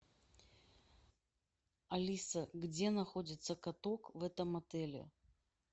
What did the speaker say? алиса где находится каток в этом отеле